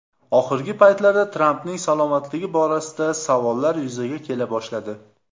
Oxirgi paytlarda Trampning salomatligi borasida savollar yuzaga kela boshladi.